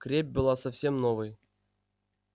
крепь была совсем новой